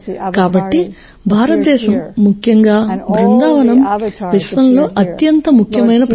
కాబట్టి భారతదేశం ముఖ్యంగా బృందావనం విశ్వంలో అత్యంత ముఖ్యమైన ప్రదేశం